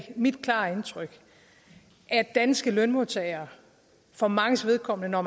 mit klare indtryk at danske lønmodtagere for manges vedkommende når